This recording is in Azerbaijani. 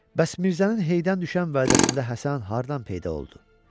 Bəs Mirzənin heydən düşən vəədəsində Həsən hardan peyda oldu?